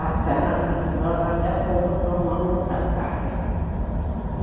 A casa, nós até fomos para uma outra casa.